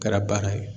Kɛra bana ye